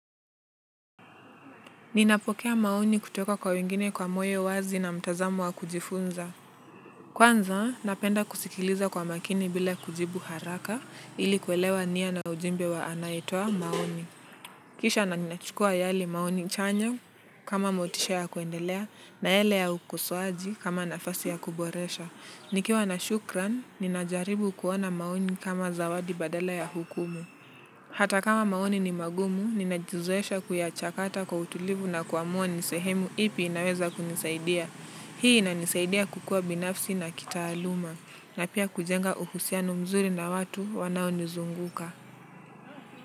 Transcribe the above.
Ninapokea maoni kutoka kwa wengine kwa moyo wazi na mtazamo wa kujifunza. Kwanza, napenda kusikiliza kwa makini bila kujibu haraka ili kuelewa nia na ujumbe wa anayetoa maoni. Kisha na ninachukua yale maoni chanya kama motisha ya kuendelea na yale ya ukosoaji kama nafasi ya kuboresha. Nikiwa na shukran, ninajaribu kuona maoni kama zawadi badala ya hukumu. Hata kama maoni ni magumu, ninajizoesha kuyachakata kwa utulivu na kuamua ni sehemu ipi inaweza kunisaidia. Hii inanisaidia kukua binafsi na kitaaluma, na pia kujenga uhusiano mzuri na watu wanao nizunguka.